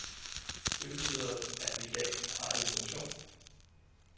Det betyder, at vi i dag har en funktion.